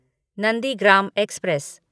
Nandigram express